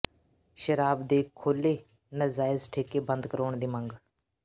ਸ਼ਰਾਬ ਦੇ ਖੋਲ੍ਹੇ ਨਾਜਾਇਜ਼ ਠੇਕੇ ਬੰਦ ਕਰਵਾਉਣ ਦੀ ਮੰਗ